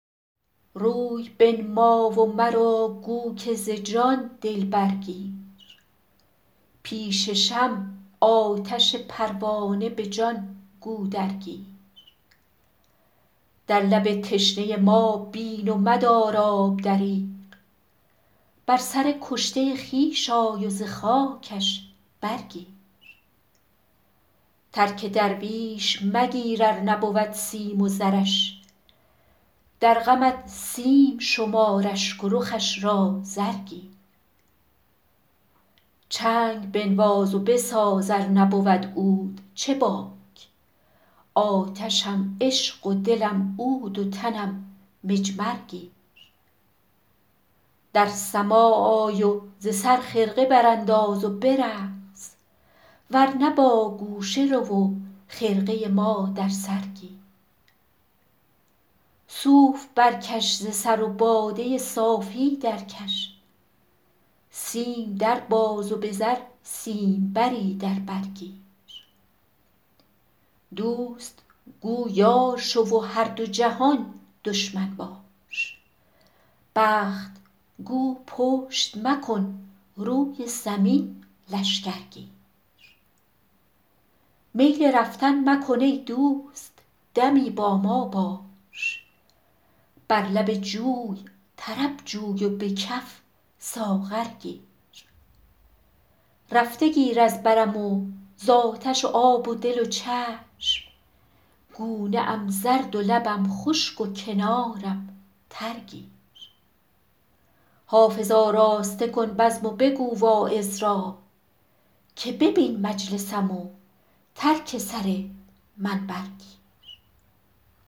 روی بنما و مرا گو که ز جان دل برگیر پیش شمع آتش پروانه به جان گو درگیر در لب تشنه ما بین و مدار آب دریغ بر سر کشته خویش آی و ز خاکش برگیر ترک درویش مگیر ار نبود سیم و زرش در غمت سیم شمار اشک و رخش را زر گیر چنگ بنواز و بساز ار نبود عود چه باک آتشم عشق و دلم عود و تنم مجمر گیر در سماع آی و ز سر خرقه برانداز و برقص ور نه با گوشه رو و خرقه ما در سر گیر صوف برکش ز سر و باده صافی درکش سیم در باز و به زر سیمبری در بر گیر دوست گو یار شو و هر دو جهان دشمن باش بخت گو پشت مکن روی زمین لشکر گیر میل رفتن مکن ای دوست دمی با ما باش بر لب جوی طرب جوی و به کف ساغر گیر رفته گیر از برم و زآتش و آب دل و چشم گونه ام زرد و لبم خشک و کنارم تر گیر حافظ آراسته کن بزم و بگو واعظ را که ببین مجلسم و ترک سر منبر گیر